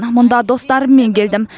мұнда достарыммен келдім